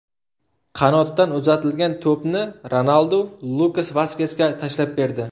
Qanotdan uzatilgan to‘pni Ronaldu Lukas Vaskesga tashlab berdi.